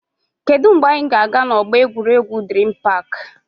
Kedụ mgbe anyị ga-aga na ọgbọ egwuregwu Dream park?